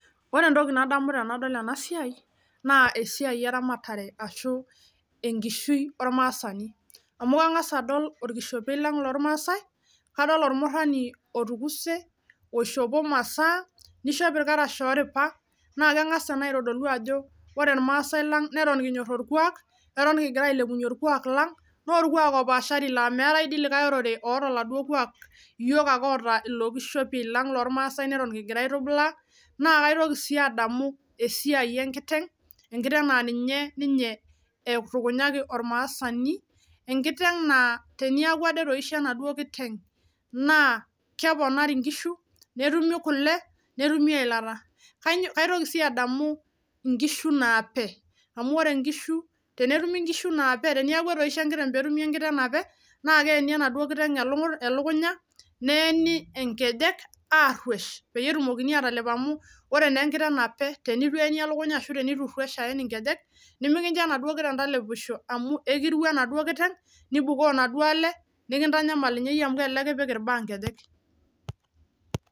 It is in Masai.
Ore entoki nadamu tenadol ena siai naa esiai eramatare ashu enkishui ormasaani. Amu kanga's adol orkishompe lang' loo ormasae nadol ormurani lotukuse oishopo imaasa nishop irkarash oripa na kengas ena aitodolu ajo ore irmasae lang' neton kinyor orkuak eton kigira ailepunye orkuak lang' naa orkuak loopashari lang' laaa meetai likae orere loota likae kuak iyiok ake ota ilo kishopie lang' neton kigira aibung' naa kaitokii sii adamu esiai enkiteng' enkiteng' naa ninye ninye eibulukanyaki ormasani enkiteng' naa tenayaku ade etoishe enaduo nkiteng' naaa keponari inkishu netumi kule netumi eilata. Kaitokii sii adamu nkishu nape amu ore inkishu tenitumi nkishu neeku etoishe netumi enkiteng' napee naa keeni enaduo nkiteng' elukunya neeni inkejek aruesh pee etumokini atalep amuu ore naa enkiteng' nape teneitu eeni elukunya aen nkejek nemikinjo anduo kiteng talepisho amu ikirua enaduo kiteng nibukoo naduo ale nikintanyamal ninye iuie amu elelek kipik irbaa inkejek.